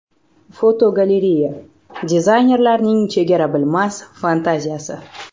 Fotogalereya: Dizaynerlarning chegara bilmas fantaziyasi.